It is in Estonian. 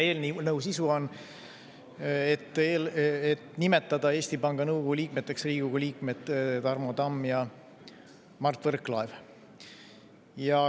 Eelnõu sisu on, et nimetada Eesti Panga nõukogu liikmeteks Riigikogu liikmed Tarmo Tamm ja Mart Võrklaev.